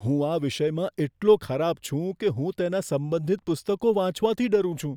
હું આ વિષયમાં એટલો ખરાબ છું કે હું તેના સંબંધિત પુસ્તકો વાંચવાથી ડરું છું.